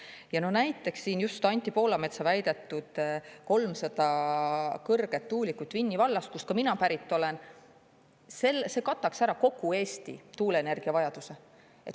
Ja näiteks siin just Anti Poolametsa väidetud 300 kõrget tuulikut Vinni vallas, kust ka mina pärit olen seal – see kataks ära kogu Eesti tuuleenergia vajaduse.